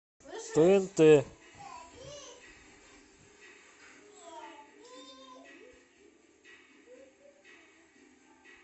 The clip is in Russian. тнт